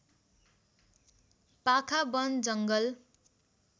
पाखा वन जङ्गल